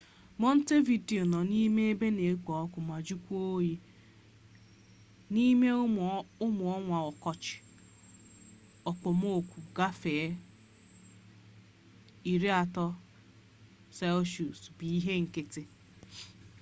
montevideo nọ n'ime ebe na-ekpọ ọkụ ma jụọkwa oyi; n'ime ụmụ ọnwa ọkọchị okpomọkụ gafere +30°c bụ ihe nkịtị